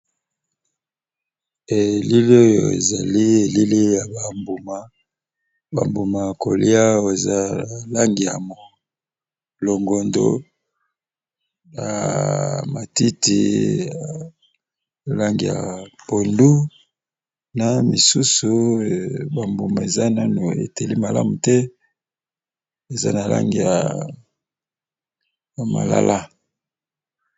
Ehh elili Oyo ézali ba mbuma ba muma yakolia eza NABA Langi ya longo do ya pondu main ba muma tango Nanu eteli malamu tee